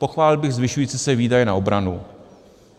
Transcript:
Pochválil bych zvyšující se výdaje na obranu.